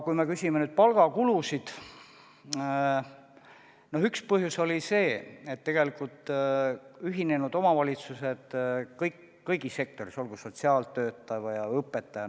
Kui te küsite palgakulude kohta, siis üks põhjus oli see, et ühinenud omavalitsused ühtlustasid palju kõigis sektorites, olgu sotsiaaltöötajad või õpetajad.